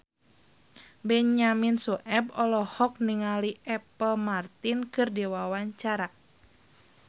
Benyamin Sueb olohok ningali Apple Martin keur diwawancara